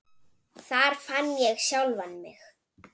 Þar fann ég sjálfan mig.